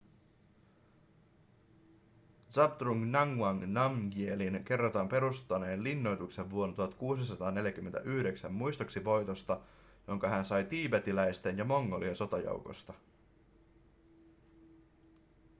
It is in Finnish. zhabdrung ngawang namgyelin kerrotaan perustaneen linnoituksen vuonna 1649 muistoksi voitosta ‎jonka hän sai tiibetiläisten ja mongolien sotajoukosta.‎